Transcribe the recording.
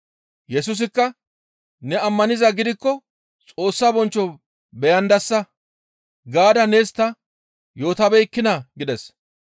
Yesusikka, «Ne ammanizaa gidikko Xoossa bonchcho beyandasa gaada nees ta yootabeekkinaa?» gides.